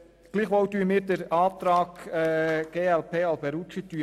Gleichwohl lehnen wir den Antrag der glp ab.